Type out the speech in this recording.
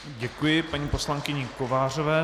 Děkuji paní poslankyni Kovářové.